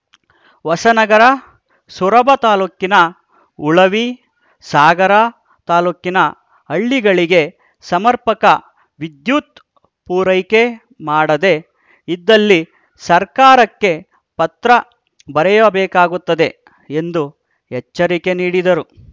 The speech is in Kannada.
ಹೊಸನಗರ ಸೊರಬ ತಾಲೂಕಿನ ಉಳವಿ ಸಾಗರ ತಾಲೂಕಿನ ಹಳ್ಳಿಗಳಿಗೆ ಸಮರ್ಪಕ ವಿದ್ಯುತ್‌ ಪೂರೈಕೆ ಮಾಡದೆ ಇದ್ದಲ್ಲಿ ಸರ್ಕಾರಕ್ಕೆ ಪತ್ರ ಬರೆಯಬೇಕಾಗುತ್ತದೆ ಎಂದು ಎಚ್ಚರಿಕೆ ನೀಡಿದರು